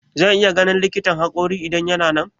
Zan iya ganin likitan haƙorin idan yana nan?